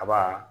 Kaba